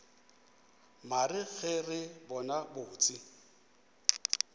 mare ge re bona botse